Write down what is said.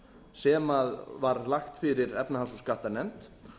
sem var lagt fyrir efnahags og skattanefnd